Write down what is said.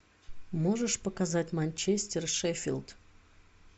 можешь показать манчестер шеффилд